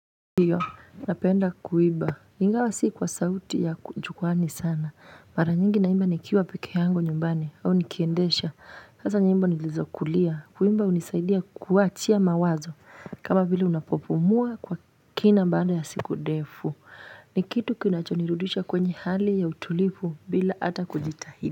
Hiyo, napenda kuiba, ingawa sii kwa sauti ya kujukwani sana, mara nyingi naimba nikiwa peke yangu nyumbani, au nikiendesha, hasa nyingbo nilizokulia, kuimba unisaidia kuachia mawazo, kama bila unapopumuwa kwa kina mba anda ya siku ndefu, ni kitu kinacho nirudisha kwenye hali ya utulivu bila ata kujitahidi.